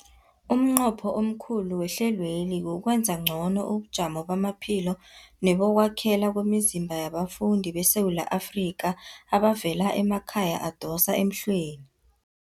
Umnqopho omkhulu wehlelweli kukwenza ngcono ubujamo bamaphilo nebokwakhela kwemizimba yabafundi beSewula Afrika abavela emakhaya adosa emhlweni.